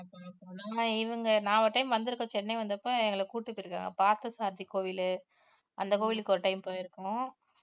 நான் ஒரு time வந்திருக்கேன் சென்னை வந்தப்ப எங்களை கூட்டிட்டு போயிருக்காங்க பார்த்தசாரதி கோவிலு அந்த கோவிலுக்கு ஒரு time போயிருக்கோம்